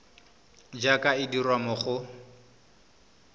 jaaka e dirwa mo go